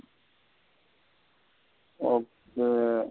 Okay